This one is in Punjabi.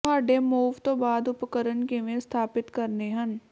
ਤੁਹਾਡੇ ਮੂਵ ਤੋਂ ਬਾਅਦ ਉਪਕਰਣ ਕਿਵੇਂ ਸਥਾਪਿਤ ਕਰਨੇ ਹਨ